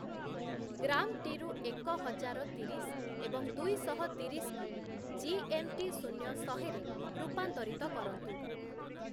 ଗ୍ରାମ୍‌ଟିରୁ ଏକ ହଜାର ତିରିଶ ଏବଂ ଦୁଇଶହ ତିରିଶକୁ ଜିଏମ୍‌ଟି ଶୂନ୍ୟ ଶହେରେ ରୂପାନ୍ତରିତ କରନ୍ତୁ